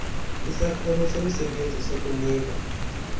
isakhono somsebenzisi sokunika